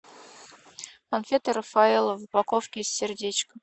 конфеты рафаэлло в упаковке с сердечком